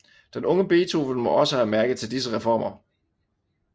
Den unge Beethoven må også have mærket til disse reformer